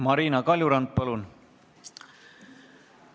Marina Kaljurand, palun!